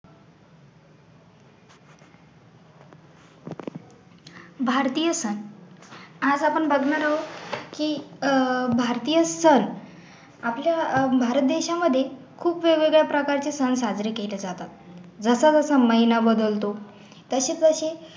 भारतीय सण आज आपण बघणार आहोत की अह भारतीय सण आपल्या अह भारत देशामध्ये खूप वेगवेगळ्या प्रकारचे सण साजरे केले जातात जसा जसा महिना बदलतो तशे तशे